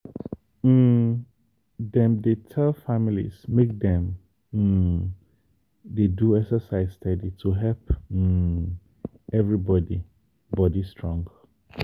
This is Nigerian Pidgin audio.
um dem dey tell families make dem um dey do exercise steady to help um everybody body strong.